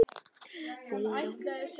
Fyrir á hún son.